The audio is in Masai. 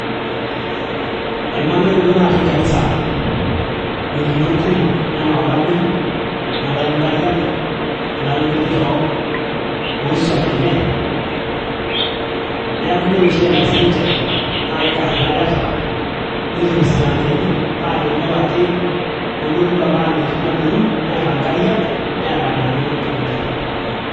Eimaaa intoiwuo naatii Garissa igolikinot kumok enaa olameyu nelayu inkariak nelayu inkujit oo swam enye neeku ore oshi eneas ninche naa kikar ilaketa netur isilankeni paa tenelo ake nelotu ilameitin adoru neeta inkariak neeta ineenya intokitin enye.